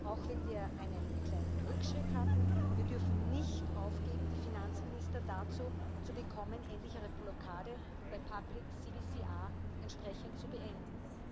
Auch wenn wir einen kleinen Rückschritt hatten, wir dürfen nicht aufgeben, die Finanzminister dazu zu bekommen, endlich ihre Blockade bei entsprechend zu beenden.